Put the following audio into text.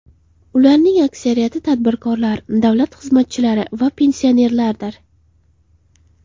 Ularning aksariyati tadbirkorlar, davlat xizmatchilari va pensionerlardir.